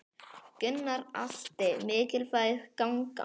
Gunnar Atli: Mikilvæg gangan?